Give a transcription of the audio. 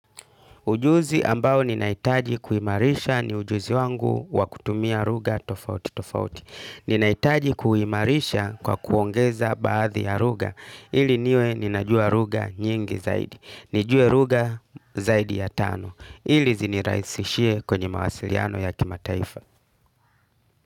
Ujuzi ambao ninaitaji kuimarisha ni ujuzi wangu wa kutumia lugha tofauti tofauti. Ninaitaji kuimarisha kwa kuongeza baadhi ya ruga. Ili niwe ni najua lugha nyingi zaidi. Nijue lugha zaidi ya tano. Ili ziniraisishie kwenye mawasiliano ya kimataifa.